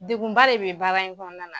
Degunba de be baara in kɔɔna na.